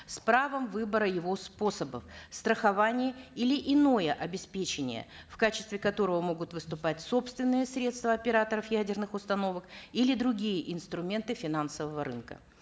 с правом выбора его способов страхование или иное обеспечение в качестве которого могут выступать собственные средства операторов ядерных установок или другие инструменты финансового рынка